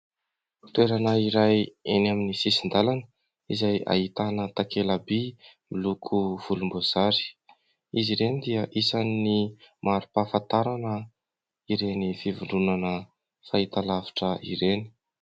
Toerana iray, eny amin'ny sisin-dàlana, izay ahitana takela-by; miloko volom-boasary. Izy ireny dia isan'ny, mari-pahafantarana, ireny fivondronana, fahitalavitra ireny.